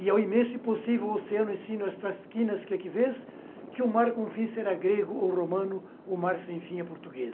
E ao imenso e possível oceano ensino estas esquinas que aqui vês, que o mar com fim será grego ou romano, o mar sem fim é português.